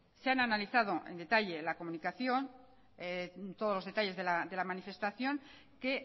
se han analizado en detalle la comunicación todos los detalles de la manifestación que